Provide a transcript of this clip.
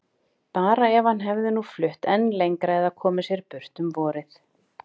Bara ef hann hefði nú flutt enn lengra eða komið sér burt um vorið.